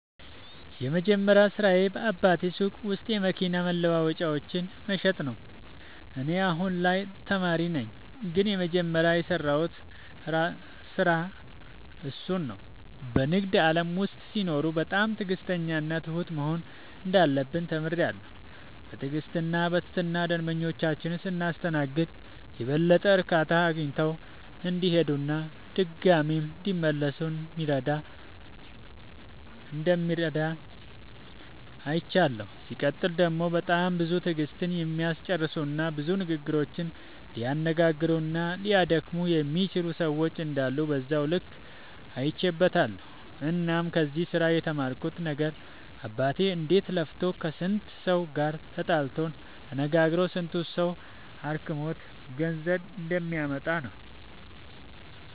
የመጀመሪያ ስራዬ በአባቴ ሱቅ ውስጥ የመኪና መለዋወጫዎችን መሸጥ ነበረ። እኔ አሁን ላይ ተማሪ ነኝ ግን የመጀመሪያ የሰራሁት ስራ እሱን ነው። በንግድ ዓለም ውስጥ ሲኖሩ በጣም ትዕግሥተኛና ትሁት መሆን እንዳለብን ተምሬያለሁ። በትዕግሥትና በትህትና ደንበኞቻችንን ስናስተናግድ የበለጠ እርካታ አግኝተው እንዲሄዱና ድጋሚም እንዲመለሱ እንደሚረዳ አይቻለሁ። ሲቀጥል ደግሞ በጣም ብዙ ትዕግሥትን የሚያስጨርሱና ብዙ ንግግሮችን ሊያነጋግሩና ሊያደክሙ የሚችሉ ሰዎች እንዳሉ በዛው ልክ አይቼበትበታለሁ። እናም ከዚህ ስራ የተማርኩት ነገር አባቴ እንዴት ለፍቶ ከስንቱ ሰው ጋር ተጣልቶ ተነጋግሮ ስንቱ ሰው አድክሞት ገንዘብ እንደሚያመጣ ነው።